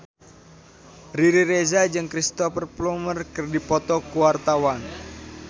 Riri Reza jeung Cristhoper Plumer keur dipoto ku wartawan